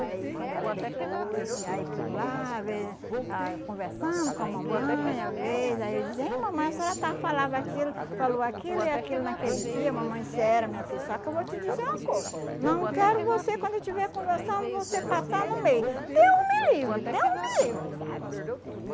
Aí, quando era depois, aí por lá, ve ah conversando com a mamãe, às vezes, aí eu dizia, aí mamãe, a senhora estava falava aquilo, falou aquilo e aquilo naquele dia, mamãe, era, minha filha, só que eu vou te dizer uma coisa, não quero você, quando estiver conversando, você passar no meio, Deus me livre, Deus me livre, sabe?